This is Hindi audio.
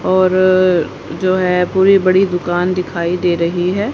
और जो है पूरी बड़ी दुकान दिखाई दे रही है।